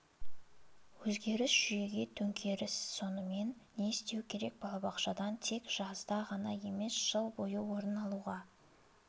өзгеріс жүйеге төңкеріс сонымен не істеу керек балабақшадан тек жазда ғана емес жыл бойы орын алуға